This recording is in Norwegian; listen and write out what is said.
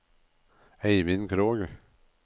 Eivind Krogh